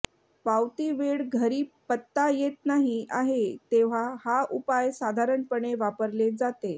पावती वेळ घरी पत्ता येत नाही आहे तेव्हा हा उपाय साधारणपणे वापरले जाते